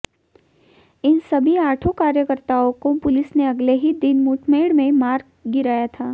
उन सभी आठों कार्यकर्ताओं को पुलिस ने अगले ही दिन मुठभेड में मार गिराया था